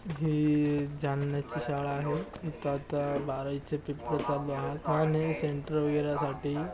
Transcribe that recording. ही जालण्याची शाळा आहे. इथ आता बारावीचे पेपर चालू आहात आणि सेन्टर वगैरे साठी --